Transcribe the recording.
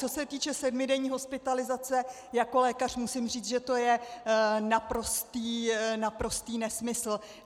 Co se týče sedmidenní hospitalizace, jako lékař musím říct, že to je naprostý nesmysl.